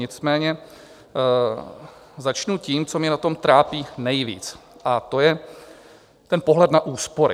Nicméně začnu tím, co mě na tom trápí nejvíc, a to je ten pohled na úspory.